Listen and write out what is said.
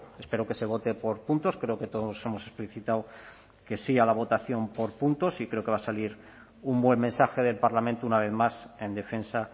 espero que se vote por puntos creo que todos hemos explicitado que sí a la votación por puntos y creo que va a salir un buen mensaje del parlamento una vez más en defensa